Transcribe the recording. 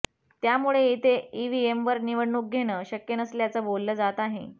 त्यामुळे इथे ईव्हीएमवर निवडणूक घेणं शक्य नसल्याचं बोललं जात आहे